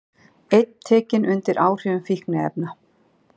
Einn tekinn undir áhrifum fíkniefna